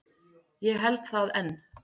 Ég held það enn.